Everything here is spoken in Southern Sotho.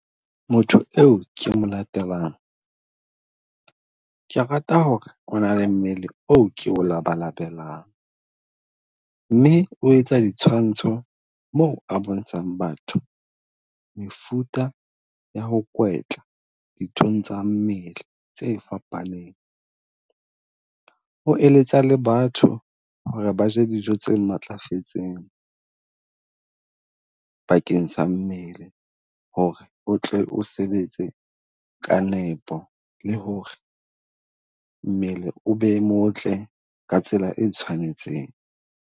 Motho eo ke mo latelang, ke rata ho re o na le mmele o ke o labalabelang, mme o etsa ditshwantsho moo a bontshang batho. Mefuta ya ho kwetla dithutong tsa mmele tse fapaneng, o eletsa le batho ho re ba je dijo tse matlafetseng. Bakeng sa dumele ho re o tle o sebetse ka nepo le ho re mmele o be motle ka tsela e tshwanetseng.